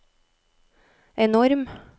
enorm